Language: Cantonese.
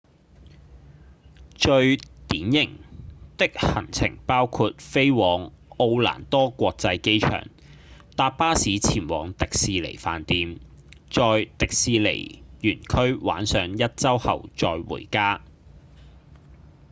最「典型」的行程包括飛往奧蘭多國際機場、搭巴士前往迪士尼飯店、在迪士尼園區玩上一週後再回家